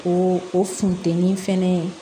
O o funtɛni fɛnɛ